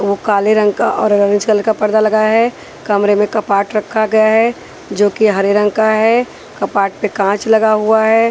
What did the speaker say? ओ काले रंग का और ऑरेंज कलर का पर्दा लगाया है कमरे में कपाट रखा गया है जो कि हरे रंग का है कपाट पे काँच लगा हुआ है।